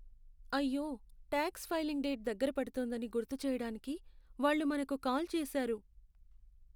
అయ్యో! Tax filing date దగ్గర పడుతోందని గుర్తు చేయడానికి వాళ్ళు మనకి కాల్ చేసారు.